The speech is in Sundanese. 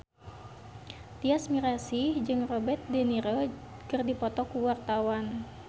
Tyas Mirasih jeung Robert de Niro keur dipoto ku wartawan